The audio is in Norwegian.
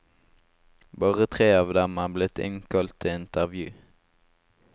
Bare tre av dem er blitt innkalt til intervju.